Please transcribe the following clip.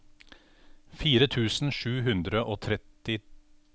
fire tusen sju hundre og tretti